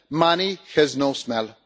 Money has no smell.